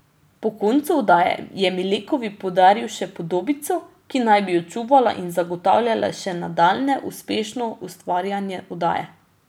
Po koncu oddaje je Milekovi podaril še podobico, ki naj bi jo čuvala in zagotavljala še nadaljnje uspešno ustvarjanje oddaje.